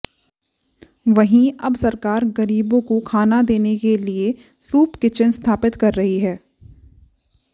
वहीं अब सरकार गरीबों को खाना देने के लिए सूप किचन स्थापित कर रही है